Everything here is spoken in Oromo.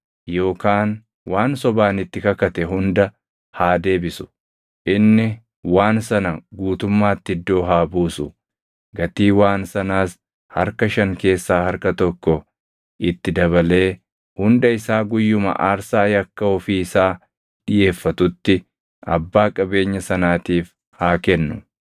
yookaan waan sobaan itti kakate hunda haa deebisu. Inni waan sana guutummaatti iddoo haa buusu; gatii waan sanaas harka shan keessaa harka tokko itti dabalee hunda isaa guyyuma aarsaa yakka ofii isaa dhiʼeeffatutti abbaa qabeenya sanaatiif haa kennu.